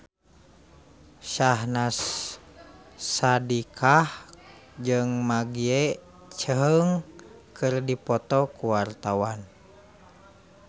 Syahnaz Sadiqah jeung Maggie Cheung keur dipoto ku wartawan